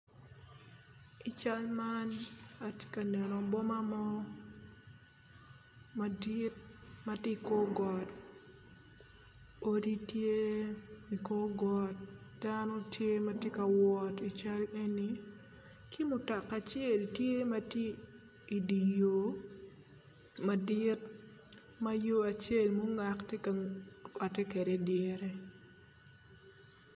I cal man atye ka neno boma mo madit matye ikor got odi tye ikor got dano tye matye kawot i cal eni ki mutoka acel tye matye idye yor madit ma yor acel mungat tye ka rwate kwede idyere.